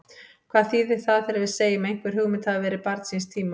Hvað þýðir það þegar við segjum að einhver hugmynd hafi verið barn síns tíma?